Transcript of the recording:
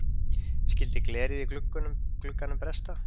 Skyldi glerið í glugganum bresta?